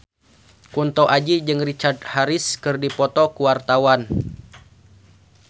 Kunto Aji jeung Richard Harris keur dipoto ku wartawan